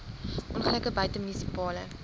ongelukke buite munisipale